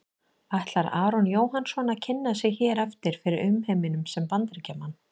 Ætlar Aron Jóhannsson að kynna sig hér eftir fyrir umheiminum sem Bandaríkjamann?